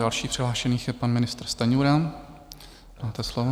Další přihlášený je pan ministr Stanjura, máte slovo.